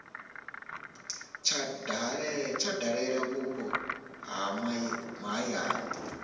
tsha dalela vhupo ha mahayani